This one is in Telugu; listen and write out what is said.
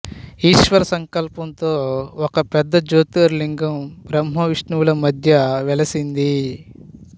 ఈశ్వర సంకల్పంతో ఒక పెద్ద జ్యోతిర్లింగం బ్రహ్మ విష్ణువుల మధ్య వెలసింది